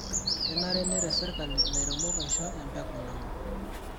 Kenare neret serkali ilairemok aisho empeku naun.